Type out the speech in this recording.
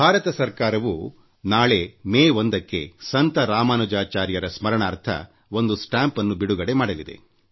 ಭಾರತ ಸರ್ಕಾರವೂ ನಾಳೆ ಮೇ 1ರಂದು ಆಚಾರ್ಯ ರಾಮಾನುಜಾಚಾರ್ಯರಸ್ಮರಣಾರ್ಥ ಒಂದು ಅಂಚೆ ಚೀಟಿನ್ನು ಬಿಡುಗಡೆ ಮಾಡಲಿದೆ